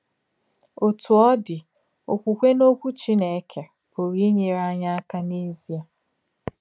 Òtú ọ̀ dì, òkwùkwè n’Òkwù Chínèkè pùrù ínyèrè ányị̀ àkà n’èzìè.